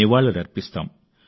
నివాళులర్పిస్తాం